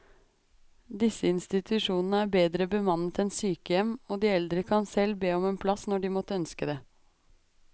Disse institusjonene er bedre bemannet enn sykehjem, og de eldre kan selv be om en plass når de måtte ønske det.